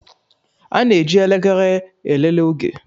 A na-eji elekere elele oge